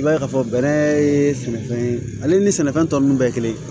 I b'a ye k'a fɔ bɛnɛ ye sɛnɛfɛn ye ale ni sɛnɛfɛn tɔ ninnu bɛɛ kelen